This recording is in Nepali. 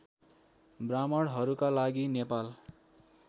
ब्राह्मणहरूका लागि नेपाल